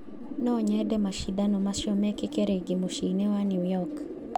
Nonyende macindano macio mekĩke rĩngĩ mũcĩĩ mũnene wa New York